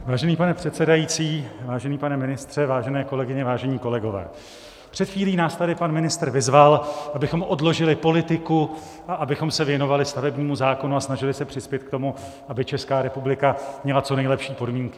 Vážený pane předsedající, vážený pane ministře, vážené kolegyně, vážení kolegové, před chvílí nás tady pan ministr vyzval, abychom odložili politiku a abychom se věnovali stavebnímu zákonu a snažili se přispět k tomu, aby Česká republika měla co nejlepší podmínky.